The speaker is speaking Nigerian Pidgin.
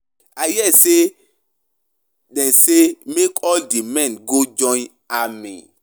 I hear say dey say make all the men go join army.